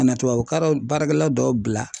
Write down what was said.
Ka na tubabukalan baarakɛla dɔw bila